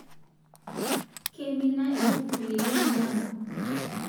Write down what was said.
Keimina lkufuli lemilanko